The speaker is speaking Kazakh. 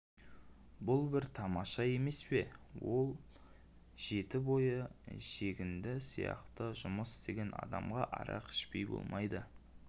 бұл бір тамаша емес пе ал жеті бойы жегінді сияқты жұмыс істеген адамға арақ ішпей болмайды